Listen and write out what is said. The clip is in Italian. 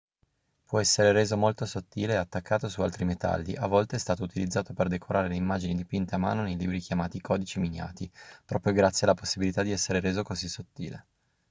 può essere reso molto sottile e attaccato su altri metalli a volte è stato utilizzato per decorare le immagini dipinte a mano nei libri chiamati codici miniati proprio grazie alla possibilità di essere reso così sottile